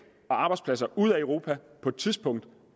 og arbejdspladser ud af europa på et tidspunkt